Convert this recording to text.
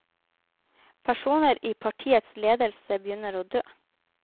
Personer i partiets ledelse begynner å dø.